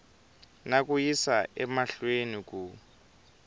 na ku yisa emahlweni ku